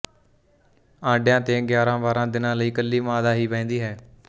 ਆਂਡਿਆਂ ਤੇ ਯਾਰਾਂਬਾਰਾਂ ਦਿਨਾਂ ਲਈ ਕੱਲੀ ਮਾਦਾ ਹੀ ਬਹਿੰਦੀ ਹੈ